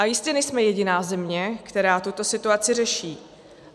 A jistě nejsme jediná země, která tuto situaci řeší.